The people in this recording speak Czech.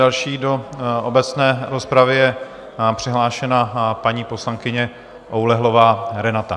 Další do obecné rozpravy je přihlášená paní poslankyně Oulehlová Renata.